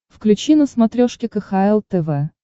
включи на смотрешке кхл тв